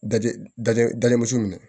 Daji dajɔ dalen muso nunnu